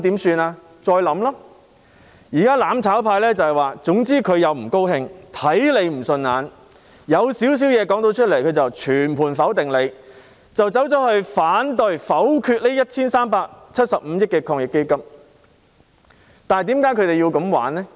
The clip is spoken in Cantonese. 現在"攬炒派"的做法卻是，總之他們不喜歡、看不順眼、稍有瑕疵的，他們便會全盤否定，因而反對、否決這 1,375 億元的防疫抗疫基金撥款。